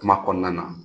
Kuma kɔnɔna na